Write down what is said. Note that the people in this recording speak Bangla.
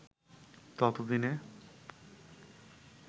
তত দিনে